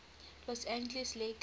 los angeles lakers